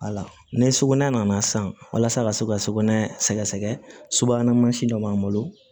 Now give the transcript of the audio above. Wala ni sukoɛ nana san walasa ka se ka sukon sɛgɛgɛsɛgɛ subahana mansin dɔ b'an bolo